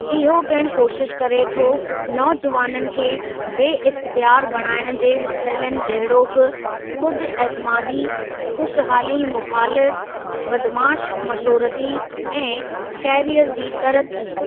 इहो पिणु कोशिश करे थो नौजुवाननि खे बेइख़्तियार बणाइणु जे मसइलनि जहिड़ोकि ख़ुदि ऐतमादी, ख़ुशहाली मुख़ालिफ़ु, बदमाशु मशोरती, ऐं कैरीयर जी तरक़ी।